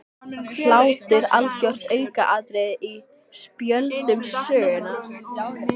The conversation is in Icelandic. Hlátur algjört aukaatriði á spjöldum sögunnar.